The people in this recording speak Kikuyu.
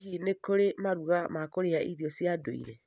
Hihi nĩ kũrĩ maruga ma kũrĩa irio cia ndũire?